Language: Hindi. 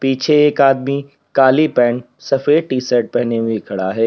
पीछे एक आदमी काली पेंट सफेद टी-शर्ट पहने हुए खड़ा है।